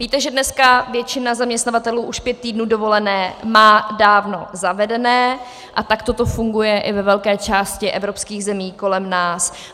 Víte, že dneska většina zaměstnavatelů už pět týdnů dovolené má dávno zavedených a takto to funguje i ve velké části evropských zemí kolem nás.